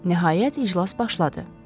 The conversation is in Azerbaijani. Nəhayət iclas başladı.